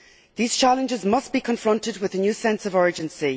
These challenges must be confronted with a new sense of urgency.